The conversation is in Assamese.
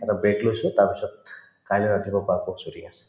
এটা break লৈছো তাৰপিছত কাইলৈ ৰাতিপুৱাৰ পৰা আকৌ shooting আছে